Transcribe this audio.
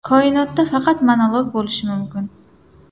Koinotda faqat monolog bo‘lishi mumkin” .